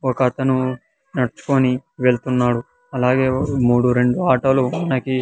ఒక అతను నడుచుకొని వెళ్తున్నాడు అలాగే మూడు రెండు ఆటోలు మనకి--